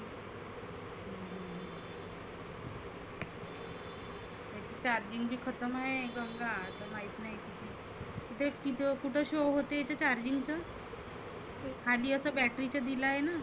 charging बी खतम आहे माहित नाही. ते किथ कुठे show होतय इथे charging चं? खाली असं battry चं दिलं आहेना.